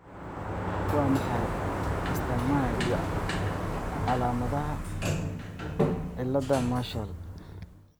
Waa maxay astamaha iyo calaamadaha cilaada Marshall